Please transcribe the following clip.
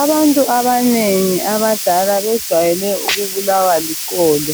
Abantu abanengi abadala bejwayele ukubulawa liqolo.